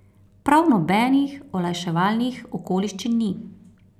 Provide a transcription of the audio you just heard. Prav nobenih olajševalnih okoliščin ni.